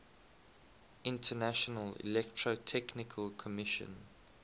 international electrotechnical commission